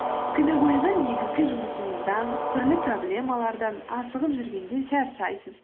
күні бойғы негізгі жұмысыңыздан түрлі проблемалардан асығып жүргенде шаршайсыз